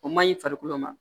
O maɲi farikolo ma